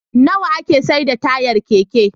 Nawa ake saida tayar Keke?